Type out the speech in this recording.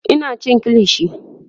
Ina cin kilishi